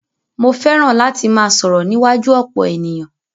Mó fẹràn láti máà sọ̀rọ̀ níwájú ọ̀pọ̀ ènìyàn.